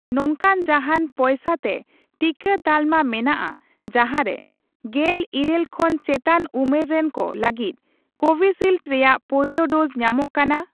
ᱱᱚᱝᱠᱟᱱ ᱡᱟᱦᱟᱸᱱ ᱯᱚᱭᱥᱟ ᱛᱮ ᱴᱤᱠᱟᱹ ᱛᱟᱞᱢᱟ ᱢᱮᱱᱟᱜᱼᱟ ᱡᱟᱦᱟᱸ ᱨᱮ ᱜᱮᱞ ᱤᱨᱟᱹᱞ ᱠᱷᱚᱱ ᱪᱮᱛᱟᱱ ᱩᱢᱮᱨ ᱨᱮᱱᱠᱚ ᱞᱟᱹᱜᱤᱫ ᱠᱳᱵᱷᱤᱥᱤᱞᱰ ᱨᱮᱭᱟᱜ ᱯᱳᱭᱞᱳ ᱰᱳᱡᱽ ᱧᱟᱢᱚᱜ ᱠᱟᱱᱟ ᱾